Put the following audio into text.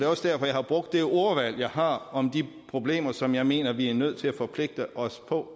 også derfor jeg har brugt det ordvalg jeg har om de problemer som jeg mener vi er nødt til at forpligte os på